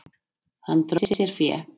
Hann dró sér fé.